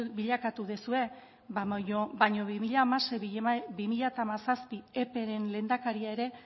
bilakatu duzue baina bi mila hamasei bi mila hamazazpi epearen lehendakaria ere